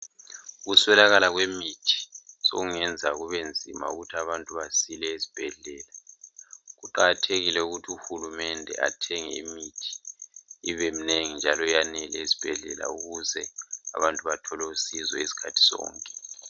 Ukuswelakala kwemithi sekungenza kubenzima ukuthi abantu basile esibhedlela. Kuqakathekile ukuthi uhulumende athenge imithi ibemnengi njalo yanele ezibhedlela ukuze abantu bathole usizo izikhathi zonke.